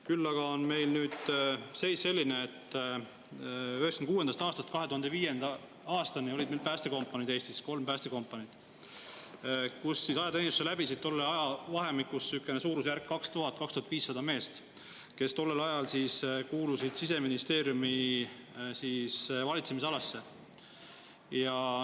Küll aga on meil nüüd seis selline, et 1996. aastast 2005. aastani oli meil Eestis kolm päästekompaniid ja tolles ajavahemikus läbis ajateenistuse 2000–2500 meest, kes tollel ajal kuulusid Siseministeeriumi valitsemisalasse.